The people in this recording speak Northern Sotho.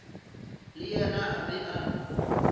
le yena a be a